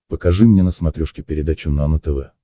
покажи мне на смотрешке передачу нано тв